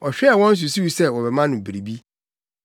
Ɔhwɛɛ wɔn susuw sɛ wɔbɛma no biribi.